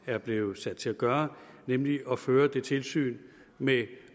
er blevet sat til at gøre nemlig at føre det tilsyn med